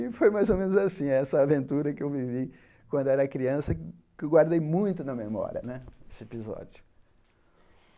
E foi mais ou menos assim, essa aventura que eu vivi quando era criança, que eu guardei muito na memória né, esse episódio.